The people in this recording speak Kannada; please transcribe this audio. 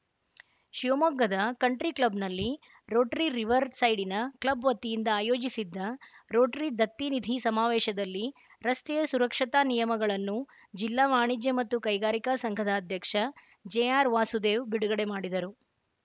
ಶಿವಮೊಗ್ಗದ ಕಂಟ್ರಿ ಕ್ಲಬ್‌ನಲ್ಲಿ ರೋಟರಿ ರಿವರ್‌ ಸೈಡಿನ ಕ್ಲಬ್‌ ವತಿಯಿಂದ ಆಯೋಜಿಸಿದ್ದ ರೋಟರಿ ದತ್ತಿನಿಧಿ ಸಮಾವೇಶದಲ್ಲಿ ರಸ್ತೆಯ ಸುರಕ್ಷತಾ ನಿಯಮಗಳನ್ನು ಜಿಲ್ಲಾ ವಾಣಿಜ್ಯ ಮತ್ತು ಕೈಗಾರಿಕಾ ಸಂಘದ ಅಧ್ಯಕ್ಷ ಜೆಆರ್‌ವಾಸುದೇವ ಬಿಡುಗಡೆ ಮಾಡಿದರು